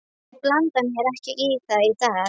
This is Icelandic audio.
Ég blanda mér ekki í það í dag.